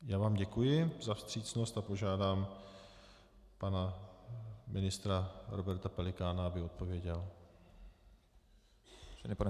Já vám děkuji za vstřícnost a požádám pana ministra Roberta Pelikána, aby odpověděl.